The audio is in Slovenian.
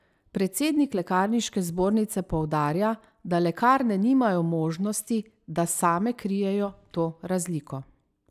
Predsednik lekarniške zbornice poudarja, da lekarne nimajo možnosti, da same krijejo to razliko.